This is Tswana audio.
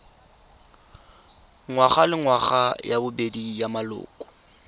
ngwagalengwaga ya bobedi ya maloko